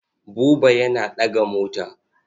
Buba yana ɗaga mota.